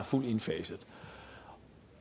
fuldt indfaset